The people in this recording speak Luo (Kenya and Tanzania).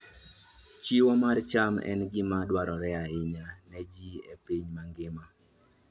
Chiwo mar cham en gima dwarore ahinya ne ji e piny mangima.